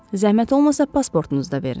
Zəhmət olmasa pasportunuzu da verin.